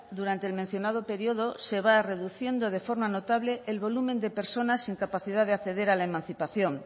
durante el mencionado periodo se va reduciendo de forma notable el volumen de personas sin capacidad de acceder a la emancipación